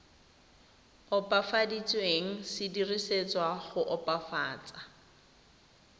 opafaditsweng se dirisetswa go opafatsa